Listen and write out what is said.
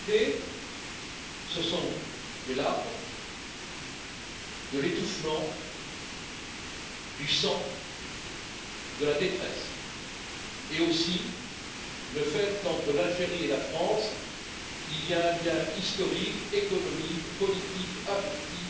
La réalité, ce sont des larmes, de l'étouffement, du sang, de la détresse et aussi le fait qu'entre l'Algérie et la France, il y a un lien historique, économique, politique et affectif.